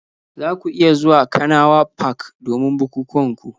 Za ku iya zuwa kanawa park domin bukukuwan ku